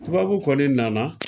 Tubabu kɔni nana